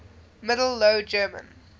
middle low german